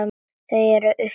Þau eru uppi.